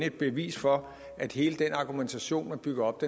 et bevis for at hele den argumentation man bygger op